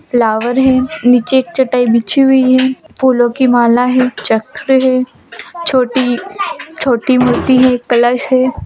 Flowers है नीचे एक चटाई बिछी हुई है फूलो की माला है चक्र है छोटी छोटी मूर्ति है कलश है।